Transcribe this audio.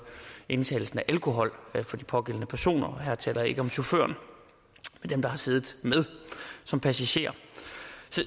indtagelsen af alkohol for de pågældende personer her taler jeg ikke om chaufføren men dem der har siddet med som passagerer